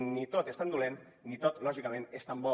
ni tot és tan dolent ni tot lògicament és tan bo